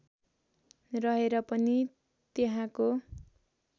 रहेर पनि त्यहाँको